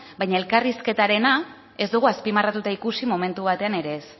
baina elkarrizketarena ez dugu azpimarratuta ikusi momentu batean ere ez